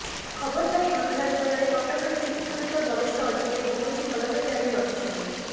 ଖବର ପାଇ ଘଟଣାସ୍ଥଳରେ କଟକ ଡିସିପି ସମେତ ବରିଷ୍ଠ ଅଧିକାରୀ ପହଂଚି ତଦନ୍ତ ଜାରି ରଖିଛନ୍ତି